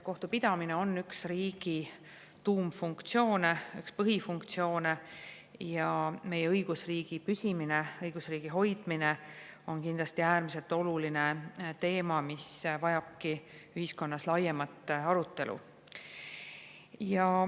Kohtupidamine on üks riigi tuumfunktsioone, üks põhifunktsioone ja meie õigusriigi püsimine, õigusriigi hoidmine on kindlasti äärmiselt oluline teema, mis vajabki ühiskonnas laiemat arutelu.